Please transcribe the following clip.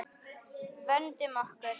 Vöndum okkur.